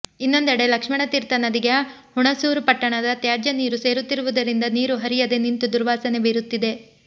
ಇನ್ನೊಂದೆಡೆ ಲಕ್ಷ್ಮಣತೀರ್ಥ ನದಿಗೆ ಹುಣಸೂರು ಪಟ್ಟಣದ ತ್ಯಾಜ್ಯ ನೀರು ಸೇರುತ್ತಿರುವುದರಿಂದ ನೀರು ಹರಿಯದೆ ನಿಂತು ದುರ್ವಾಸನೆ ಬೀರುತ್ತಿದೆ